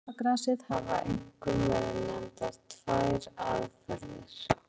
Til þess að finna lásagrasið hafa einkum verið nefndar tvær aðferðir.